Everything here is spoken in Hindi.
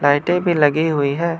लाइटें भी लगी हुई है।